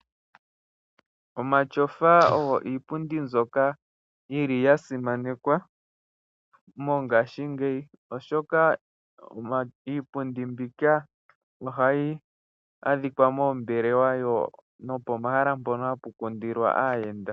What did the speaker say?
Omatyofa ogo iipundi mbyoka yili ya simanekwa mongaashingeyi, oshoka iipundi mbika ohayi adhika moombelewa, nopomahala mpono hapu kundilwa aayenda.